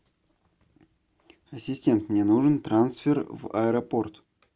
ассистент мне нужен трансфер в аэропорт